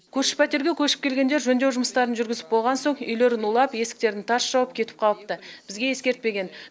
көрші пәтерге көшіп келгендер жөндеу жұмыстарын жүргізіп болған соң үйлерін улап есіктерін тарс жауып кетіп қалыпты бізге ескертпеген